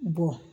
Bɔn